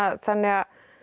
þannig að